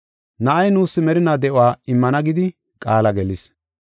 Na7ay nuus merinaa de7uwa immana gidi qaala gelis.